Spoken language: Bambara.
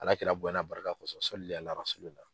Alakira bonya n'a barika kɔsɔ sɔli Ala rasulila.